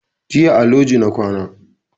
Jiya a loji na kwana